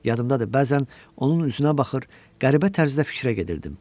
Yadımdadır, bəzən onun üzünə baxır, qəribə tərzdə fikrə gedirdim.